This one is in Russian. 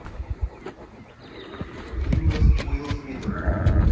фильмы с уилл смитом